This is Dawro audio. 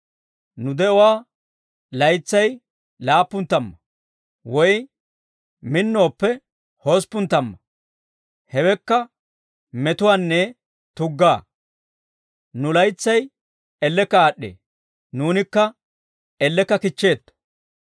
Nu de'uwaa laytsay laappun tamma; woy minnooppe, hosppun tamma; hewekka metuwaanne tugga. Nu laytsay ellekka aad'd'ee; nuunikka ellekka kichcheetto.